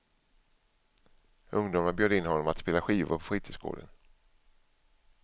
Ungdomarna bjöd in honom att spela skivor på fritidsgården.